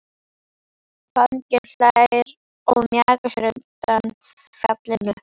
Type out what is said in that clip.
Fanginn hlær og mjakar sér undan fjallinu.